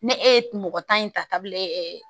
Ne e ye mɔgɔ tan in ta kabilen